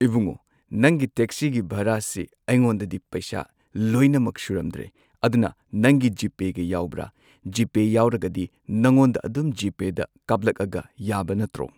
ꯏꯕꯨꯡꯉꯣ ꯅꯪꯒꯤ ꯇꯦꯛꯁꯤꯒꯤ ꯚꯔꯥꯁꯤ ꯑꯩꯉꯣꯟꯗꯗꯤ ꯄꯩꯁꯥ ꯂꯣꯏꯅꯃꯛ ꯁꯨꯔꯝꯗ꯭ꯔꯦ ꯑꯗꯨꯅ ꯅꯪꯒꯤ ꯖꯤꯄꯦꯒ ꯌꯥꯎꯕ꯭ꯔ ꯖꯤꯄꯦ ꯌꯥꯎꯔꯒꯗꯤ ꯅꯉꯣꯟꯗ ꯑꯗꯨꯝ ꯖꯤꯄꯦꯗ ꯀꯥꯞꯂꯛꯑꯒ ꯌꯥꯕ ꯅꯠꯇ꯭ꯔꯣ꯫